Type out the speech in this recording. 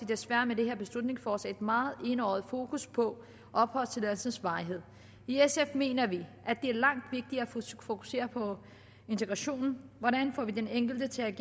desværre med det her beslutningsforslag et meget enøjet fokus på opholdstilladelsens varighed i sf mener vi at at fokusere på integrationen hvordan får vi den enkelte til at